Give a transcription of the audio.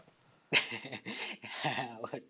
হ্যাঁ আবারটা